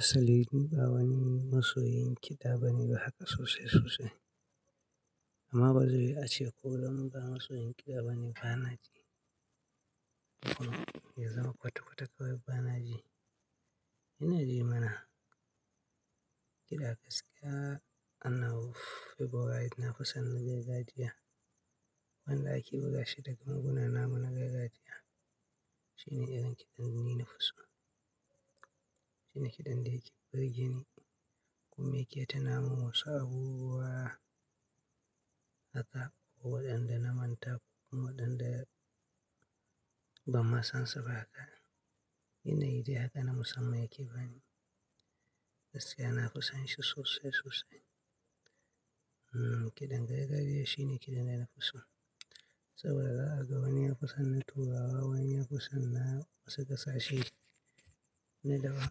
Asali ni ba wani masoyin kiɗa bane ba haka sosai-sosai. Amma bazai yiwu ace ko danni ba masoyin kiɗa bane bana ji. Ya zama kwata-kwata kawai bana ji. Ina ji mana kiɗa gaskiya a nawa favourite na fi son na gargajiya. Wanda ake buga shi da ganguna namu na gargajiya shine irin kiɗan da ni na fi so. Shine kiɗan da yake burge ni kuma yake tuna mun wasu abubuwa haka waɗanda na manta waɗanda ban ma san su ba haka. Ina ji haka na musamman yake bani gaskiya, na fi son shi sosai sosai. Hmm, kiɗan gargajiya shine kiɗan da ina fi so saboda zaka ga wani ya fi son na turawa, wani ya fi son na wasu ƙasashe na dawa.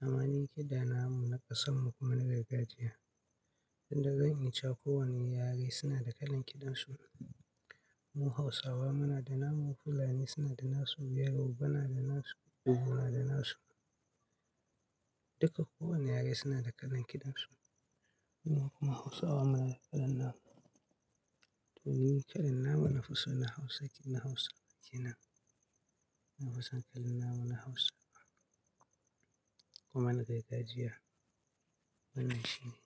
Amma ni kiɗana mu na ƙasan mu kuma na gargajiya, inda zan iya cewa ko wani yare suna da kalan kiɗan su. Mu Hausawa muna da namu, Fulani suna da nasu, Yoroba na da nasu, Igbo na da nasu. Duka kowane yare suna da kalan kiɗan su. Mu kuma Hausawa muna da kalan namu. To ni kalan na mu na fiso na Hausa, na Hausa kenan na fisan kalan na mu na Hausawa kuma na gargajiya. Wannan shine.